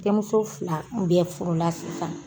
Denmuso fila bɛɛ furula sisan.